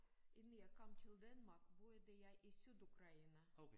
Inden jeg kom til Danmark boede jeg i Sydukraine